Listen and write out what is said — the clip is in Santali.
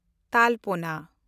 ᱛᱟᱞᱯᱳᱱᱟ